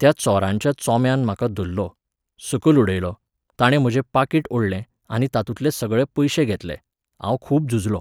त्या चोरांच्या चोंब्यान म्हाका धरलो, सकल उडयलो, ताणें म्हजें पाकीट ओडलें आनी तातूंतले सगळे पयशे घेतले, हाव खूब झुजलों.